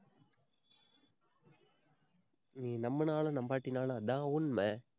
நீ நம்புனாலும் நம்பாட்டினாலும் அதான் உண்மை